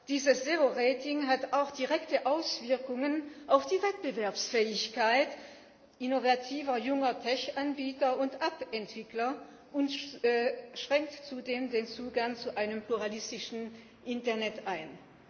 Dieses zero rating hat auch direkte Auswirkungen auf die Wettbewerbsfähigkeit innovativer junger Tech Anbieter und App Entwickler und schränkt zudem den Zugang zu einem pluralistischen Internet ein.